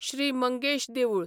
श्री मंगेश देवूळ